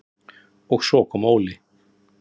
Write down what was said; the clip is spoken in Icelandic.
Og svo kom Óli.